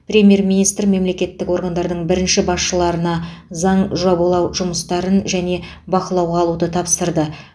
премьер министр мемлекеттік органдардың бірінші басшыларына заң жобалау жұмыстарын және бақылауға алуды тапсырды